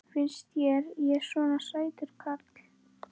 Finnst þér ég svona sætur karl já.